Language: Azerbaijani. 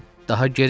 Daha geri niyə?